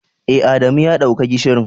Eh, Adamu ya dauka gishirin.